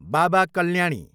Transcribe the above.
Baba Kalyani